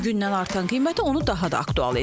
Günü-gündən artan qiyməti onu daha da aktual edib.